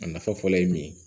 A nafa fɔlɔ ye min ye